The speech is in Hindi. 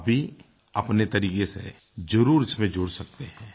आप भी अपने तरीके से ज़रूर इसमें जुड़ सकते हैं